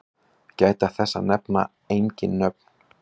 Gæta þess að nefna engin nöfn.